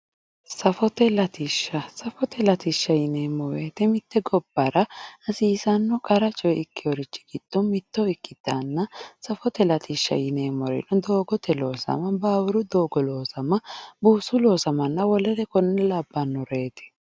safote latishsha ,safote latishsha yineemmo woyte mitte gobbara hasiisanno qara coye ikkewori giddo mitto ikkanna, safote latishsha yineemmori doogote loossa, baawuru doogo loossa, buusu loosamanna wolunno konne labbannoreeti.